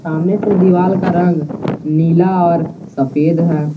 सामने से दीवाल का रंग नीला और सफेद है।